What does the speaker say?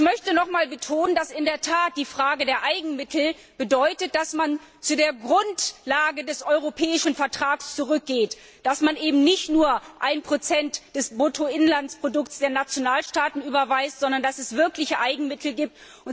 Ich möchte nochmals betonen, dass die Frage der Eigenmittel bedeutet, dass man zur Grundlage des europäischen Vertrags zurückgeht, dass man eben nicht nur ein Prozent des Bruttoinlandsprodukts der Nationalstaaten überweist, sondern dass es wirkliche Eigenmittel gibt.